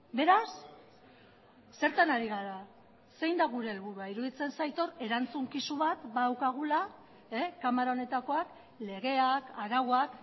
beraz zertan ari gara zein da gure helburua iruditzen zait hor erantzukizun bat badaukagula kamara honetakoak legeak arauak